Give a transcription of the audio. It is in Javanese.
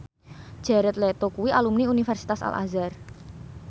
Jared Leto kuwi alumni Universitas Al Azhar